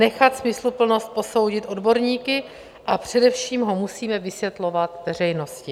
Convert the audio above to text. Nechat smysluplnost posoudit odborníky, a především ho musíme vysvětlovat veřejnosti.